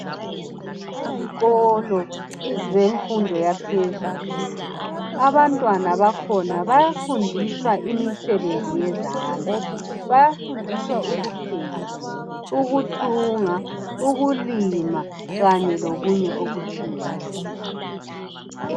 Ezikolo zemfundo yaphezulu abantwana bakhona bayafundiswa imisebenzi yezandla bayafundiswa ukupheka ukuthunga ukulima kanye lokunye okutshiyeneyo.